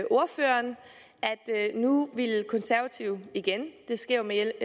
nu ville konservative igen det sker jo med